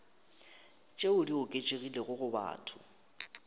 tšeo di oketšegilego go batho